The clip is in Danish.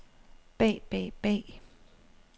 bag bag bag